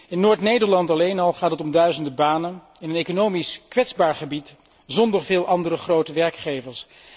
In Noord Nederland alleen al gaat het om duizenden banen, in een economisch kwetsbaar gebied zonder veel andere grote werkgevers.